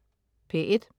P1: